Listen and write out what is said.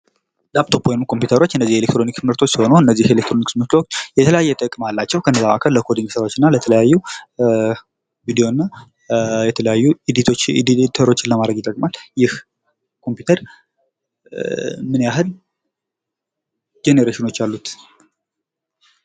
ላፕቶፕ ወይንም ኮምፒተሮች እነዚህ የኤሌችክትሮኒክስ ምርቶች ሲሆኑ እነዚህ የኤሌክትሮኒክስ ምርቶች የተለያየ ጥቅም አላቸው። ከነዚያ መካከል ለኮዲንግ ስራወች እና ለተለያዩ ቪዲዎና የተለያዩ ኢዲቶችን ለማድረግ ይጠቅማል። ይህ ኮምፒተር ምን ያህል ጀነሬሽኖች አሉት?